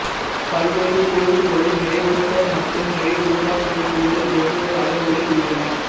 பல்வேறு கொழுப்புகளில் நிறைவுற்ற மற்றும் நிறைவுறாக் கொழுப்புகள் வெவ்வேறு அளவுகளில் உள்ளன